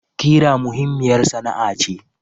Kira muhimmiyar sana'a ce.